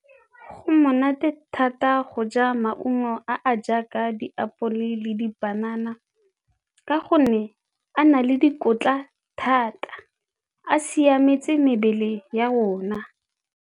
Go monate thata go ja maungo a a jaaka diapole le dipanana ka gonne a na le dikotla thata, a siametse mebele ya rona.